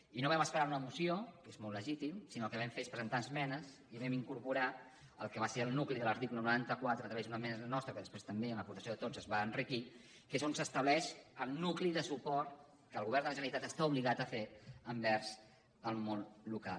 i no vam esperar una moció que és molt legítim sinó que el que vam fer és presentar esmenes i hi vam incorporar el que va ser el nucli de l’article noranta quatre a través d’una esmena nostra que després també amb l’aportació de tots es va enriquir que és on s’estableix el nucli de suport que el govern de la generalitat està obligat a fer envers el món local